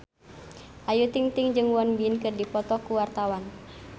Ayu Ting-ting jeung Won Bin keur dipoto ku wartawan